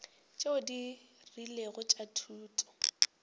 tšeo di rilego tša thuto